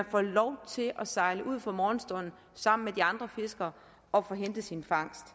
får lov til at sejle ud fra morgenstunden sammen med de andre fiskere og få hentet sin fangst